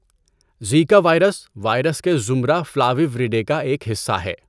Zika virus, virus کے زمرہ Flaviviridae کا ایک حصّہ ہے۔